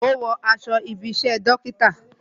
Ó ń wo aṣọ ibi isẹ dókítà